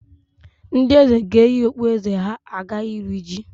Ndị Eze ga-eyi okpueze ha aga iri ji